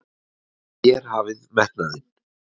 Þér hafið metnaðinn!